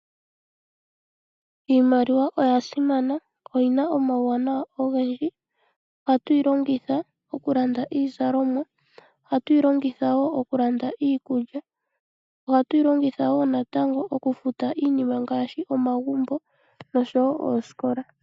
Iimaliwa oya simana. Oyina omawuwanawa ogendji, ohayu yi longitha okulanda iizalomwa, ohatu yi longitha wo okulanda iikulya. Ohatu yi longitha wo natango okufuta iinima ngaashi omagumbo noshowo oosikola.